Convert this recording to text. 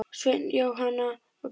Sveinn, Jóhanna og Bjarki.